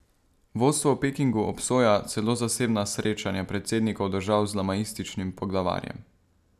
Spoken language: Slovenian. Vodstvo v Pekingu obsoja celo zasebna srečanja predsednikov držav z lamaističnim poglavarjem.